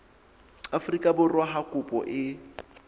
afrika borwa ha kopo e